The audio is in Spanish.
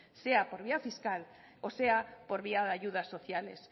sea por vía fiscal o sea por vía de ayudas sociales